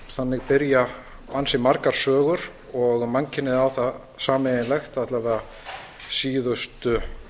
þannig byrja ansi margar sögur og mannkynið á það sameiginlegt alla vega síðustu